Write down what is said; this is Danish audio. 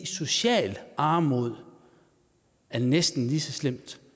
socialt armod er næsten lige så slemt